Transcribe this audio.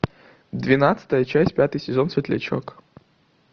двенадцатая часть пятый сезон светлячок